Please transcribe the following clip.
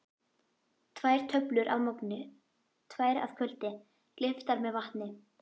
Tvær töflur að morgni, tvær að kvöldi, gleyptar með vatni.